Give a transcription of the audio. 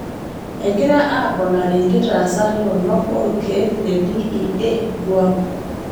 egira aaponari nkitaasat toronok orkeek le d.e.a guam